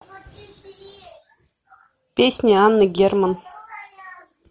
песня анны герман